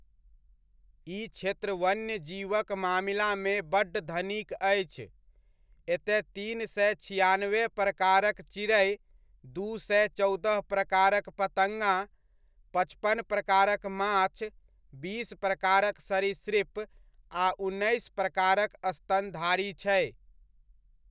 ई क्षेत्र वन्यजीवक मामिलामे बड्ड धनिक अछि, एतय तीन सए छिआनवे प्रकारक चिड़ै, दू सए चौदह प्रकारक पतड़्गा, पचपन प्रकारक माछ, बीस प्रकारक सरिसृप आ उन्नैस प्रकारक स्तनधारी छै।